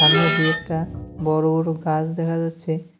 সামনে দু-একটা বড়ো বড়ো গাছ দেখা যাচ্ছে।